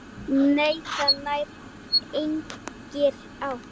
Nei, það nær engri átt.